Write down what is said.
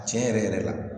Tiɲɛ yɛrɛ yɛrɛ la